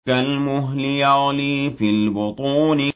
كَالْمُهْلِ يَغْلِي فِي الْبُطُونِ